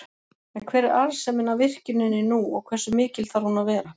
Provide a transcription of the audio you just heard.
En hver er arðsemin af virkjuninni nú og hversu mikil þarf hún að vera?